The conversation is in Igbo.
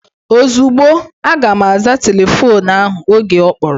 Ozugbo, aga m aza telefoonu ahụ oge ọ kpọrọ